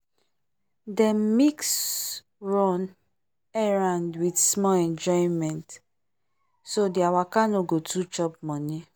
dem mix run-errand with small enjoyment so their waka no go too chop money.